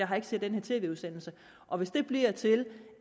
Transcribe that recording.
har set den tv udsendelse og hvis det bliver til